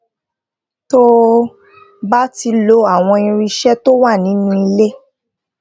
tó o bá ti lo àwọn irinṣé tó wà nínú ilé